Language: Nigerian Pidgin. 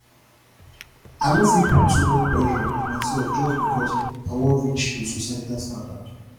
i no fit put too much pressure on myself just because i wan reach to societal standard